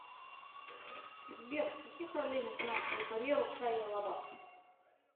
сбер с каких ролей начинал свою карьеру шайя лабаф